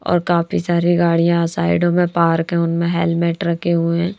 और काफी सारी गाड़ियाँ साइडों में पार्क है उनमें हेलमेट रखे हुए हैं।